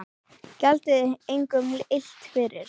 Gjaldið engum illt fyrir illt.